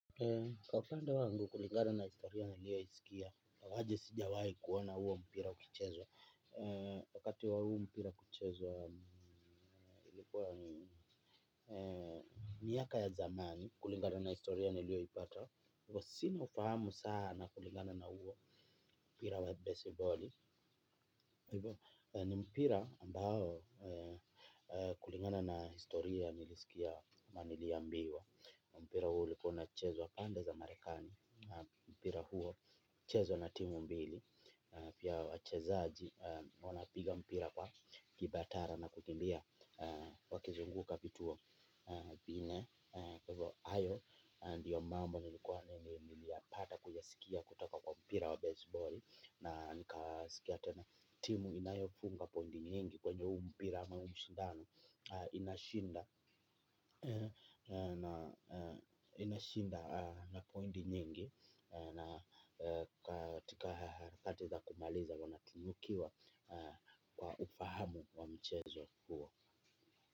Kwa upande wangu kulingana na historia nilioisikia, ingawaje sijawahi kuona huo mpira ukichezwa, wakati wa huo mpira kuchezwa, ilikuwa miaka ya zamani kulingana na historia nilio ipata, sina ufahamu sana kulingana na huo mpira wa besiboli, ni mpira ambao kulingana na historia nilisikia ama nili ambiwa. Mpira huo ulikuwa unachezwa pande za marekani. Mpira huo huchezwa na timu mbili. Pia wachezaji wanapiga mpira kwa kibatara na kukimbia wakizunguka vituo viinne kwa hivo hayo ndiyo mambo nilipata kuyasikia kutoka kwa mpira wa baseballi. Na nika sikia tena timu inayofunga point nyingi kwenye huu mpira ama ushindano inashinda na point nyingi. Na katika harakati za kumaliza wanatinukiwa kwa ufahamu wa mchezo huo.